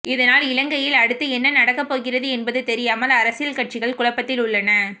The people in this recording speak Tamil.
இதனால் இலங்கையில் அடுத்து என்ன நடக்க போகிறது என்பது தெரியாமல் அரசியல் கட்சிகள் குழப்பத்தில் உள்ளன